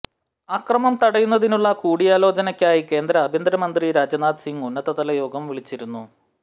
അക്രമം തടയുന്നതിനുള്ള കൂടിയാലോചനയ്ക്കായി കേന്ദ്ര ആഭ്യന്തരമന്ത്രി രാജ്നാഥ് സിങ് ഉന്നതതലയോഗം വിളിച്ചിരുന്നു